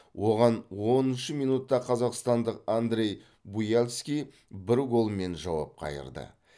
оған оныншы минутта қазақстандық андрей буяльский бір голмен жауап қайырды